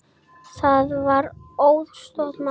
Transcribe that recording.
Það var auðsótt mál.